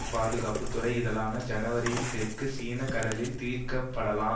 பாதுகாப்பு துறை இதழான ஜனவரியில் தெற்கு சீன கடலில் தீர்க்கப்படாமல்